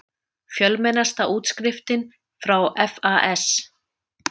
Fjölmennasta útskriftin frá FAS